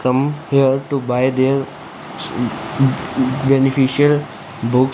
come here to buy there um um beneficial book.